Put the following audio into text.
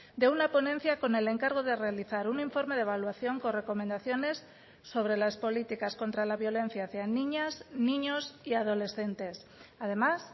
de una ponencia con el encargo de realizar un informe de evaluación con recomendaciones sobre las políticas contra la violencia hacia niñas niños y adolescentes además